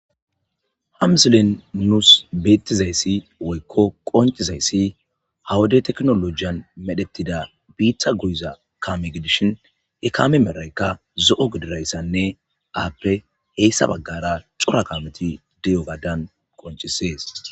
ha misilen nuus beettizayssi woykko qoncizayssi hawade teknolojiyan medhettida biitha guiza kaame gidishin he kame meraykka zo7o gidirayssanne aappe heyssa baggara cora kaameti di7o gadan qoncisees